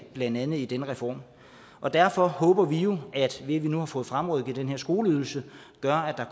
blandt andet i den reform og derfor håber vi jo at det at vi nu har fået fremrykket den her skoleydelse gør at der